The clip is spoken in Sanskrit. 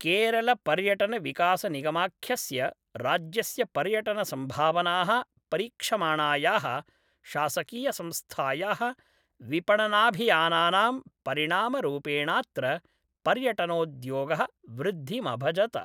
केरलपर्यटनविकासनिगमाख्यस्य, राज्यस्य पर्यटनसंभावनाः परीक्षमाणायाः शासकीयसंस्थायाः विपणनाभियानानां परिणामरूपेणात्र पर्यटनोद्योगः वृद्धिमभजत।